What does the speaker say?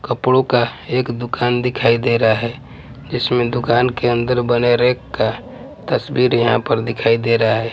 कपड़ों का एक दुकान दिखाई दे रहा है जिसमें दुकान के अंदर बने रैक का तस्वीर यहाँ पर दिखाई दे रहा है।